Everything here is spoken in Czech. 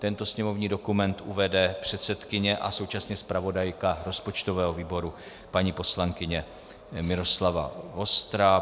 Tento sněmovní dokument uvede předsedkyně a současně zpravodajka rozpočtového výboru, paní poslankyně Miloslava Vostrá.